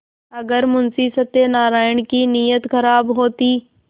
अगर मुंशी सत्यनाराण की नीयत खराब होती